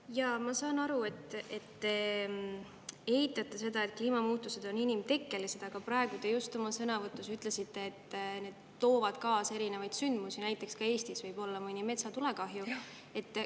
Jaa, ma saan aru, et te eitate seda, et kliimamuutused on inimtekkelised, aga praegu te just oma sõnavõtus ütlesite, et need toovad kaasa erinevaid sündmusi, näiteks ka Eestis, võib-olla mõne metsatulekahju.